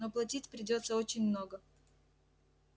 но платить придётся очень много